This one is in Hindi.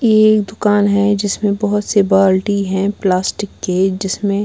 ये एक दुकान है जिसमें बहुत से बाल्टी हैं प्लास्टिक के जिसमें--